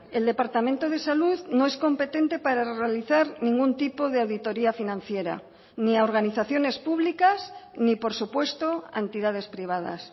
el departamento de salud no es competente para realizar ningún tipo de auditoría financiera ni a organizaciones públicas ni por supuesto a entidades privadas